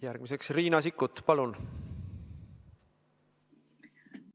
Järgmiseks Riina Sikkut, palun!